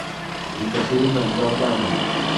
екатерина галданова